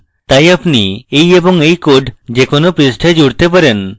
তাই আপনি এই এবং এই code যে কোনো পৃষ্ঠায় জুড়তে পারেন